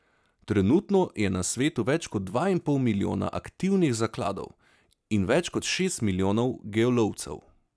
Trenutno je na svetu več kot dva in pol milijona aktivnih zakladov in več kot šest milijonov geolovcev.